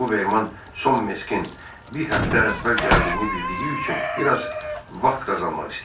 Buvverman son meskin bir həftə əvvəl gəldiyini bildiyi üçün bir az vaxt qazanmaq istəyirdi.